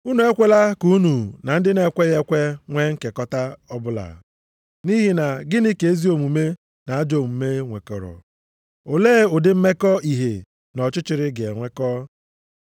Unu ekwela ka unu na ndị na-ekweghị ekwe nwee nkekọta ọbụla. Nʼihi na gịnị ka ezi omume na ajọ omume nwekọrọ? Olee ụdị mmekọ ìhè na ọchịchịrị ga-enwekọ?